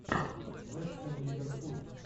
вест хэм ливерпуль